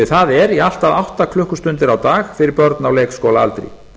það er í allt að átta klukkustundir á dag fyrir börn á leikskólaaldri